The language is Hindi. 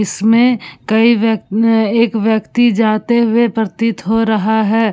इसमें कई व्यक्न् एक व्यक्ति जाते हुए प्रतीत हो रहा है।